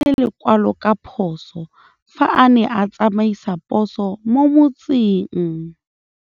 Raposo o latlhie lekwalô ka phosô fa a ne a tsamaisa poso mo motseng.